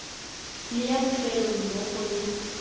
le ya bofelo mmogo le